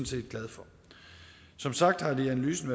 set glad for som sagt har det i analysen